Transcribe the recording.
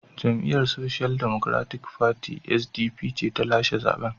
Jam’iyyar Social Democratic Party (SDP) ce ta lashe zaben.